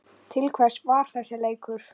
Til hvers var þessi leikur?